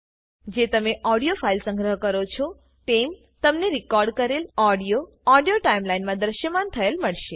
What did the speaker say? જે તમે audio file સંગ્રહ કરો છોતેમ તમને રીકોર્ડકરેલ ઓડીઓઓડીઓ ટાઈમ લાઈન મા દ્રશ્યમાન થયેલ મળશે